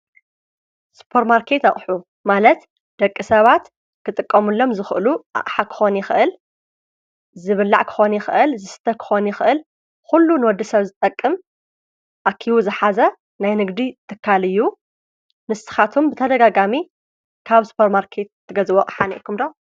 ስጶር ማርከት ኣቕሑ ማለት ደቂ ሰባት ክጥቀሙሎም ዝኽእሉ ኣሓክኾኒ ኽእል ዝብላዕ ክኾኒ ኽእል ዝስተ ክኾኒ ኽእል ዂሉ ነወዲ ሰብ ዝጠቅም ኣኪቡ ዝኃዘ ናይ ንግዲ ትካልእዩ ንስኻቶም ብተደጋጋሚ ካብ ስጶር ማርከት ትገዝበ ሓነ ኹምዶ።